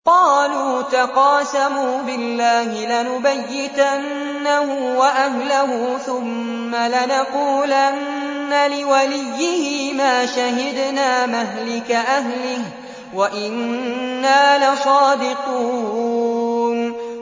قَالُوا تَقَاسَمُوا بِاللَّهِ لَنُبَيِّتَنَّهُ وَأَهْلَهُ ثُمَّ لَنَقُولَنَّ لِوَلِيِّهِ مَا شَهِدْنَا مَهْلِكَ أَهْلِهِ وَإِنَّا لَصَادِقُونَ